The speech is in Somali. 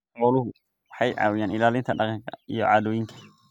Xooluhu waxay caawiyaan ilaalinta dhaqanka iyo caadooyinka.